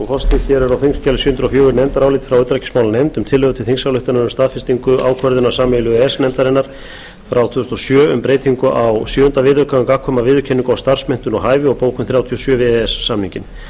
sjö hundruð og fjögur nefndarálit frá utanríkismálanefnd um tillögu til þingsályktunar um staðfestingu ákvörðunar sameiginlegu e e s nefndarinnar frá tvö þúsund og sjö um breytingu á sjöunda viðauka og bókun þrjátíu og sjö við e e s samninginn